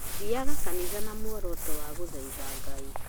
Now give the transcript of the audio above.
Thiaga kanitha na muoroto wa gũthathaiya Ngai